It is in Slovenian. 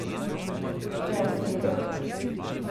Jo je ustrelil?